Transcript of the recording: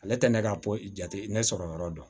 Ale tɛ ne ka ko jate ne sɔrɔ yɔrɔ dɔn